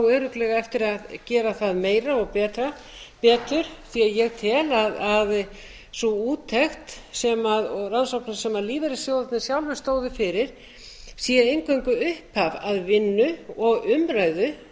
og á örugglega eftir að gera það meira og betur því að ég tel að sú úttekt sem lífeyrissjóðirnir sjálfir stóðu fyrir sé eingöngu upphaf að vinnu og